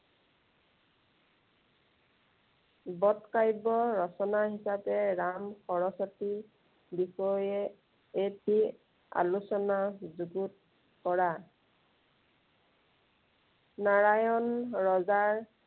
বদ কাব্য় ৰচনা হিচাপে ৰাম সৰস্বতীৰ বিষয়ে এটে আলোচনা যুগুত কৰা। নাৰায়ণ ৰজাৰ